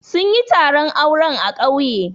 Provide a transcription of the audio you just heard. Sun yi taron auren a ƙauye.